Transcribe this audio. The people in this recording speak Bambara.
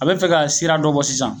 A bɛ fɛ ka sira dɔ bɔ sisan